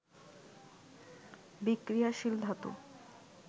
বিক্রিয়াশীল ধাতু